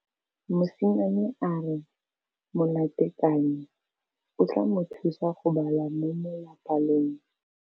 Mosimane a re molatekanyô o tla mo thusa go bala mo molapalong.